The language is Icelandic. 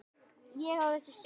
Ég á þessi stígvél.